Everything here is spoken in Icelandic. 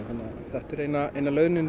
þetta er eina eina lausnin